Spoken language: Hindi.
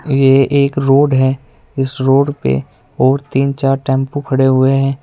ये एक रोड है इस रोड पे और तीन चार टेंपू खड़े हुए हैं।